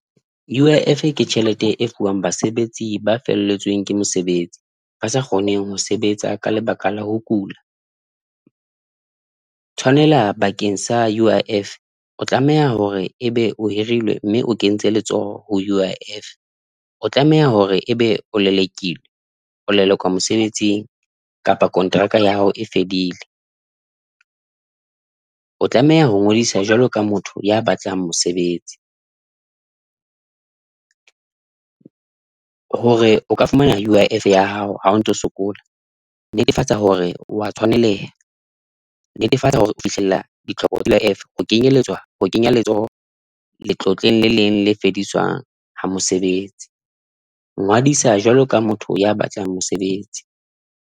U_I_F ke tjhelete e fuwang basebetsi ba felletsweng ke mosebetsi ba sa kgoneng ho sebetsa ka lebaka la ho kula, tshwanela bakeng sa U_I_F o tlameha hore ebe o hirilwe mme o kentse letsoho ho U_I_F, o tlameha hore ebe o lelekilwe o lelekwa mosebetsing kapa kontraka ya hao e fedile, o tlameha ho ngodisa jwalo ka motho ya batlang mosebetsi, hore o ka fumana U_I_F ya hao ha o ntso sokola. Netefatsa hore wa tshwaneleha. Netefatsa hore o fihlella ditlhoko tsa U_I_F ho kenyelletswa ho kenyelletswa ha letlotlong le leng le fediswang ha mosebetsi. Ngodisa jwalo ka motho ya batlang mosebetsi.